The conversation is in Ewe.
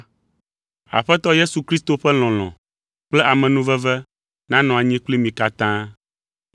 Aƒetɔ Yesu Kristo ƒe lɔlɔ̃ kple amenuveve nanɔ anyi kpli mi katã.